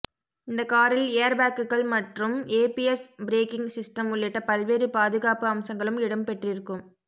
இந்த காரில் ஏர்பேக்குகள் மற்றும் ஏபிஎஸ் பிரேக்கிங் சிஸ்டம் உள்ளிட்ட பல்வேறு பாதுகாப்பு அம்சங்களும் இடம்பெற்றிருக்கும்